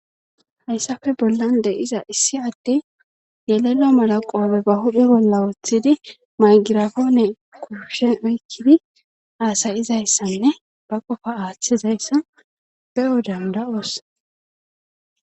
hayssafe bollan de7iza issi adde yelelo malaqowabe ba hudo bolla woothidi maygirafoone kuushen oykkidi aasayizayssanne ba qofa aaththizayssa be7o danda7oos